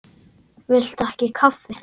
Viltu ekki kaffi?